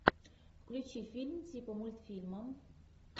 включи фильм типа мультфильма